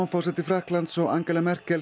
forseti Frakklands og Angela Merkel